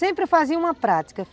Sempre fazia uma prática.